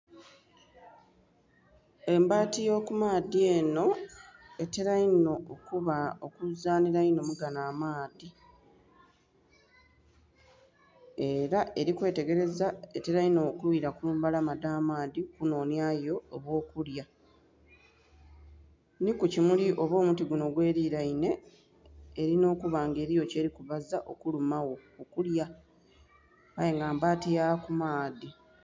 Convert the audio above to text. Embati yo ku maadhi enho etela inho okuzanhila mu ganho amaadhi era eri kwetegereza etela inho okwila kumbalama dha maadhi okunonhyayo obwokulya nhi ku kimuli oba omuti gunho gwe lilainhe erina okuba nga eriyo kyeli ku azaagho okuluma oba okulya aye nga mabati ya ku maadhi.